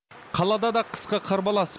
қалада да қысқы қарбалас